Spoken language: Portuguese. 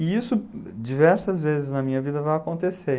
E isso diversas vezes na minha vida vai acontecer.